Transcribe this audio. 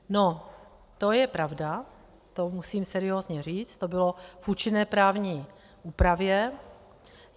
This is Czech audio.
No, to je pravda, to musím seriózně říct, to bylo v účinné právní úpravě.